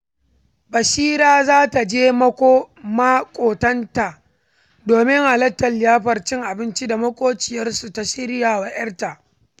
Bishira za ta je maƙota domin halartar liyafar cin abincin da maƙociyarsu ta shirya wa 'yarta.